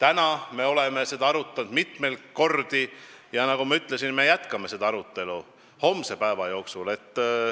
Nüüd me oleme seda arutanud mitmeid kordi ja nagu ma ütlesin, me jätkame seda arutelu homse päeva jooksul.